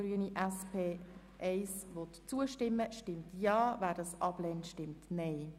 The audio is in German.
Wer dem Abänderungsantrag 2 zustimmt, stimmt Ja, wer diesen ablehnt, stimmt Nein.